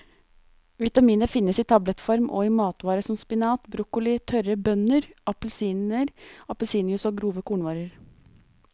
Vitaminet finnes i tablettform og i matvarer som spinat, broccoli, tørre bønner, appelsiner, appelsinjuice og grove kornvarer.